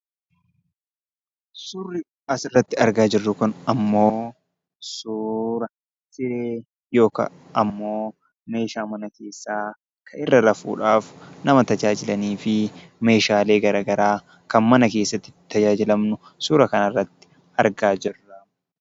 Suuraan asirratti argaa jirru kun immoo suuraa meeshaa mana keessaairra rafuudhaaf nama tajaajilanii fi meeshaalee garaagaraa mana keessatti itti tajaajilamnu suuraa kanarratti argaa jirra.